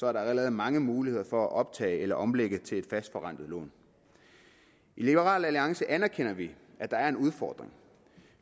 er der allerede mange muligheder for at optage eller omlægge til et fastforrentet lån i liberal alliance anerkender vi at der er en udfordring